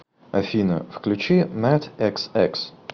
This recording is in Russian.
афина включи мэтэксэкс